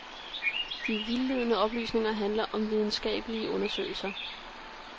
De vildledende oplysninger handler om videnskabelige undersøgelser.